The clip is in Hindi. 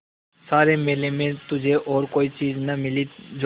सारे मेले में तुझे और कोई चीज़ न मिली जो